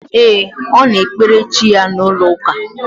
E, Ọ na ekpere chi ya na ụlọ ụka a